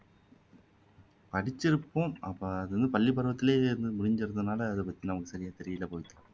படிச்சிருப்போம் நம்ம அது வந்து பள்ளிக்கூடத்திலேயே முடிஞ்சிறதுனால அது பத்தி நமக்கு சரியா தெரியலை பவித்ரா